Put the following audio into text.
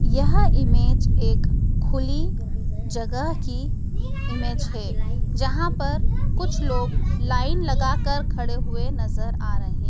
यह इमेज एक खुली जगह की इमेज है जहां पर कुछ लोग लाइन लगाकर खड़े हुए नजर आ रहे।